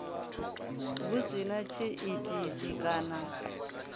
hu si na tshiitisi kana